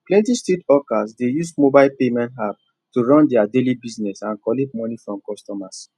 plenty street hawkers dey use mobile payment app to run their daily business and collect money from customers